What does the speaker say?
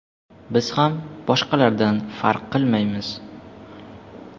Biz ham boshqalardan farq qilmaymiz.